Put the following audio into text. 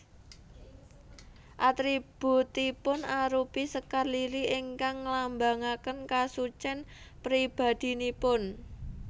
Atributipun arupi sekar lili ingkang nglambangaken kasucèn pribadinipun